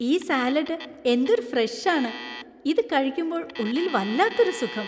ഈ സാലഡ് എന്തൊരു ഫ്രഷ് ആണ്. ഇത് കഴിക്കുമ്പോൾ ഉള്ളിൽ വല്ലാത്തൊരു സുഖം.